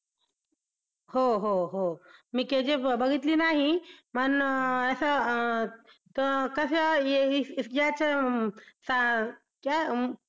हो हो हो मी KGF बघितली नाही पण असं अं त कास याचं